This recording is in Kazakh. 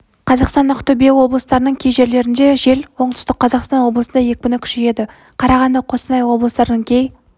қазақстан ақтөбе облыстарының кей жерлерінде жел оңтүстік қазақстан облысында екпіні күшейеді қарағанды қостанай облыстарының кей